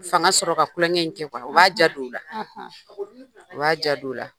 Fanga sɔrɔ ka tulonkɛ in kɛ . U b'a ja don u la, u b'a ja don u la.